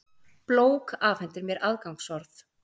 blók afhendir mér aðgangsorð.